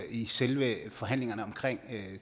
i selve forhandlingerne om